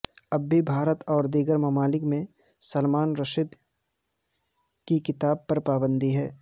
اب بھی بھارت اور دیگر ممالک میں سلمان رشدی کی کتاب پر پابندی ہے